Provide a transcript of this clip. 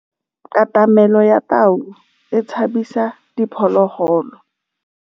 Katamêlô ya tau e tshabisitse diphôlôgôlô.